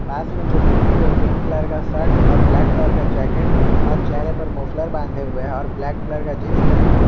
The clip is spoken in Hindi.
पास में जो व्यक्ति है वो पिंक कलर का शर्ट और ब्लैक कलर का जैकेट और चेहरे पर मोफलर बांधे हुए है और ब्लैक कलर का जींस पहना हुआ --